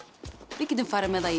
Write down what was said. við getum farið með það í